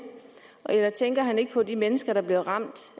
eller tænker han ikke på de mennesker der bliver ramt